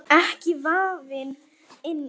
Ekki vafinn inn í bómull.